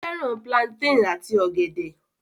Ó fẹ́ràn plantain àti ọ̀gẹ̀dẹ̀